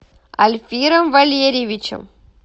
альфиром валерьевичем